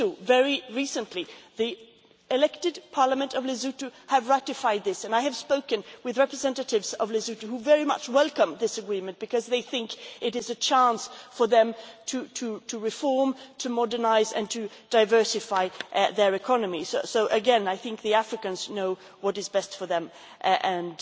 Very recently the elected parliament of Lesotho has ratified this and I have spoken with representatives of Lesotho who very much welcome this agreement because they think it is a chance for them to reform, to modernise and to diversify their economies. So again I think the Africans know what is best for them, and